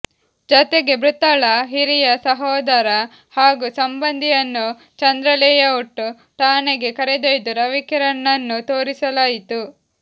ಜತೆಗೆ ಮೃತಳ ಹಿರಿಯ ಸಹೋದರ ಹಾಗೂ ಸಂಬಂಧಿಯನ್ನು ಚಂದ್ರಲೇಔಟ್ ಠಾಣೆಗೆ ಕರೆದೊಯ್ದು ರವಿಕಿರಣನನ್ನು ತೋರಿಸಲಾಯಿತು